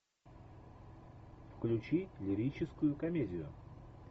включи лирическую комедию